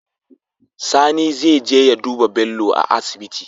Sani zeje ya duba Bello a asibiti